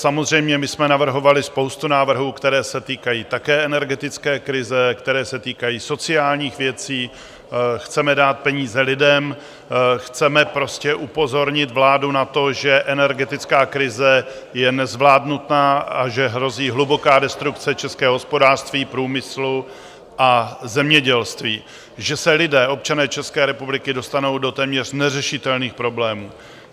Samozřejmě my jsme navrhovali spoustu návrhů, které se týkají také energetické krize, které se týkají sociálních věcí, chceme dát peníze lidem, chceme prostě upozornit vládu na to, že energetická krize je nezvládnutá a že hrozí hluboká destrukce českého hospodářství, průmyslu a zemědělství, že se lidé, občané České republiky, dostanou do téměř neřešitelných problémů.